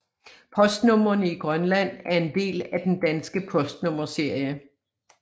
Postnumrene i Grønland er en del af den danske postnummerserie